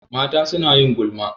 Mata suna yin gulma.